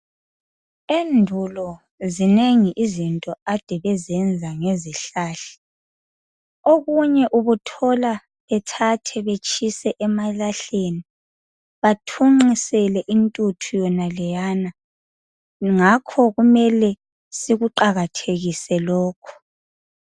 Endulo zinengi izinto ade besenza ngezihlahla. Okunye ubuthola bethathe betshise emalahleni. Bathunqisele intuthu yonaleyana kungakho kumele sikuqakayjekise lokhu.